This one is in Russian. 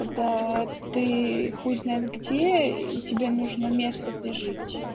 когда ты хуй знает где и тебя нужно место где жить